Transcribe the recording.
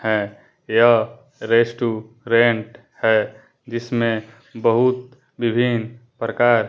है यह रेस्टूरेंट है जिसमें बहुत विभिन्न प्रकार--